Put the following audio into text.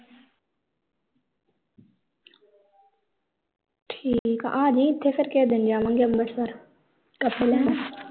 ਠੀਕ ਆ ਆਜੀ ਇਥੇ ਫਿਰ ਕਿਸੇ ਦਿਨ ਜਾਵਾਂਗੇ ਅੰਬਰਸਰ ਪਰਸ ਲੈਣ